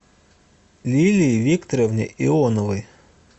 лилии викторовне ионовой